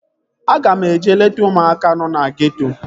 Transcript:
Aga m eje leta ụmụaka nọ na geeto